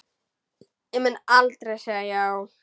Ég mun aldrei segja já.